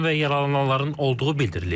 Ölən və yaralananların olduğu bildirilir.